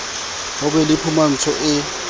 ho be le phumantsho e